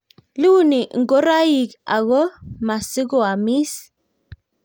Iuni ngoroik ako maa siko amis